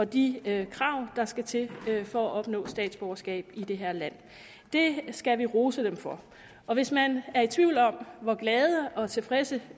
de krav der skal til for at opnå statsborgerskab i det her land det skal vi rose dem for hvis man er i tvivl om hvor glade og tilfredse